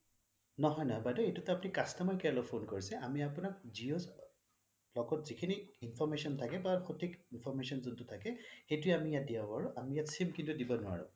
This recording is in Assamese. নহয় নহয় বাইদেউ এইটোটো আপুনি customer care ত Phone কৰিছে আমি আপোনাক জিঅ' ৰ লগত যিখিনি information থাকে বা সঠিক information যোনটো থাকে সেইটোয়ে আমি ইয়াত দিব পাৰোঁ আমি ইয়াত sim কিন্তু দিব নোৱাৰোঁ